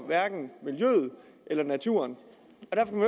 natur og de